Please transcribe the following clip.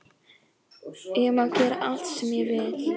Ég má gera allt sem ég vil.